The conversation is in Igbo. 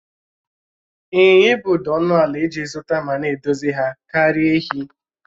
Ịnyịnya ibu dị ọnụ ala iji zụta ma na-edozi ha karịa èhi